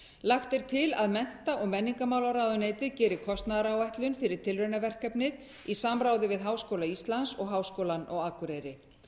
lagt er til að mennta og menningarmálaráðuneytið geri kostnaðaráætlun fyrir tilraunaverkefnið í samráði við háskóla íslands og háskólann á akureyri